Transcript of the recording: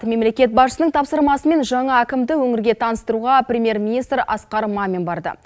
мемлекет басшысының тапсырмасымен жаңа әкімді өңірге таныстыруға премьер министр асқар мамин барды